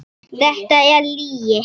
Þetta er lygi!